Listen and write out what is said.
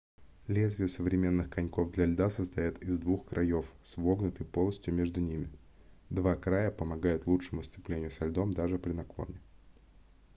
лезвия современных коньков для льда состоят из двух краёв с вогнутой полостью между ними два края помогают лучшему сцеплению со льдом даже при наклоне